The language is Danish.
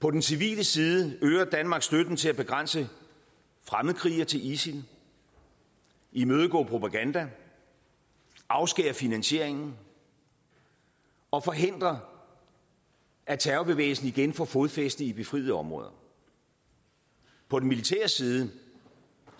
på den civile side øger danmark støtten til at begrænse fremmedkrigere til isil imødegå propaganda afskære finansieringen og forhindre at terrorbevægelsen igen får fodfæste i befriede områder på den militære side